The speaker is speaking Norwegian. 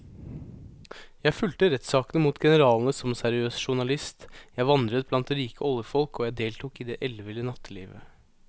Jeg fulgte rettssakene mot generalene som seriøs journalist, jeg vandret blant rike oljefolk og jeg deltok i det elleville nattelivet.